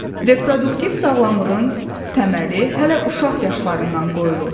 Reproduktiv sağlamlığın təməli hələ uşaq yaşlarından qoyulur.